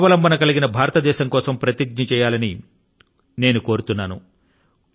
స్వావలంబన కలిగిన భారతదేశం కోసం ప్రతిజ్ఞ చేయాలని కోరుతున్నాను